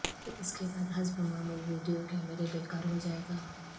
اس کے بعد حسب معمول ویڈیو کیمرے بیکار ہو جائے گا